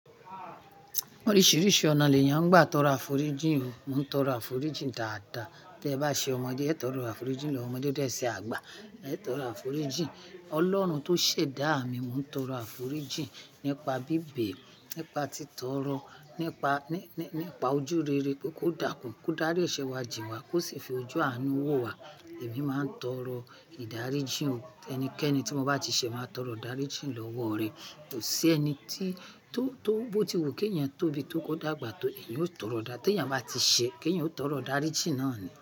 Oríṣìíríṣìí ọ̀nà lẹ̀ yán gbà tó ro afòríjìn o. Mò ń tọrọ àforíjìn dáadáa. Tí ẹ bá ṣe ọmọdé, ẹ tọrọ àforíjìn lọ́wọ ọmọdé. Tí ẹ se àgbà, ẹ tọrọ àforíjìn. Ọlọ́run tó ṣẹ̀ dá mí, mò ń tọrọ àforíjìn nípa bíbẹ̀, nípa títọ́rọ́, nípa, ní, ní, nípa ojú rere kó dákùn, kó dárí ìṣẹ́ wa jìn wa, kó sì fi ojú àánú wò wa. Èmi máa ń tọrọ ìdáríjìn. Ẹnikẹ́ni tí mo bá ti ṣe, màá tọrọ ìdáríjìn lọ́wọ́ rẹ̀. Kò sí ẹni tí, tó, tó bóti wu ki eeyán tóbi tó kò dàgbà tó, èeyan ó tọrọ dá. Tí èeyàn bá ti ṣe, kí èeyàn ó tọrọ ìdáríjìn náà ni.